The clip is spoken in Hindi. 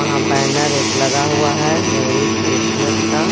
हां बैनर एक लगा हुआ है मेरी क्रिसमस का.